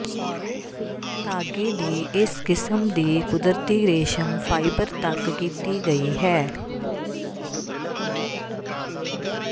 ਧਾਗੇ ਦੀ ਇਸ ਕਿਸਮ ਦੀ ਕੁਦਰਤੀ ਰੇਸ਼ਮ ਫ਼ਾਇਬਰ ਤੱਕ ਕੀਤੀ ਗਈ ਹੈ